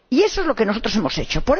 Y eso es lo que nosotros hemos hecho.